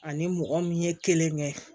Ani mɔgɔ min ye kelen kɛ